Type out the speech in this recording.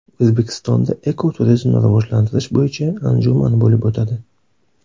O‘zbekistonda ekoturizmni rivojlantirish bo‘yicha anjuman bo‘lib o‘tadi.